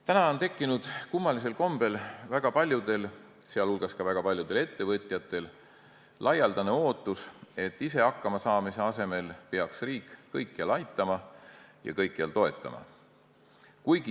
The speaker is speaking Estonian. Täna on tekkinud kummalisel kombel väga paljudel, sh väga pajudel ettevõtjatel laialdane ootus, et ise hakkama saamise asemel peaks kõikjal aitama ja kõikjal toetama riik.